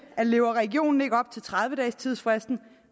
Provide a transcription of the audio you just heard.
at lever regionen ikke op til tredive dages tidsfristen